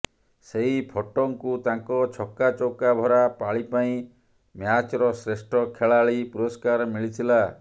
ସେଇଫର୍ଟଙ୍କୁ ତାଙ୍କ ଛକା ଚୌକା ଭରା ପାଳି ପାଇଁ ମ୍ୟାଚ୍ର ଶ୍ରେଷ୍ଠ ଖେଳାଳି ପୁରସ୍କାର ମିଳିଥିଲା